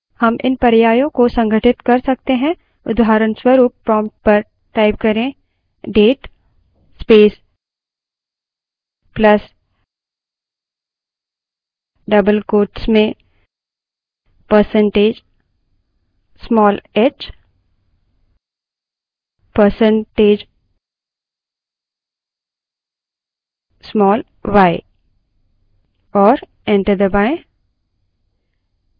हम इन पर्यायों को संघटित कर सकते हैं उदाहरणस्वरूप prompt पर date space plus double quotes में percentage small h percentage small y type करें और enter दबायें